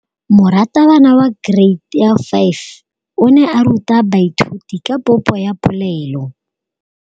Moratabana wa kereiti ya 5 o ne a ruta baithuti ka popô ya polelô.